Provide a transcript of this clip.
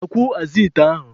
Sakwuo azụ ite ndị a.